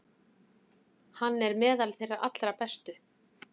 Hann er meðal þeirra allra bestu.